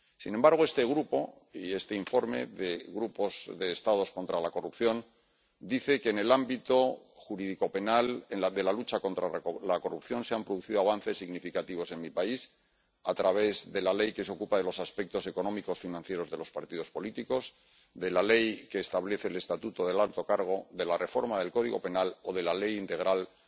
Sin embargo, este Grupo y este informe del Grupo de Estados contra la Corrupción, dice que en el ámbito jurídico penal de la lucha contra la corrupción se han producido avances significativos en mi país, a través de la ley que se ocupa de los aspectos económicos y financieros de los partidos políticos, de la ley que establece el estatuto del alto cargo, de la reforma del Código Penal o de la ley integral de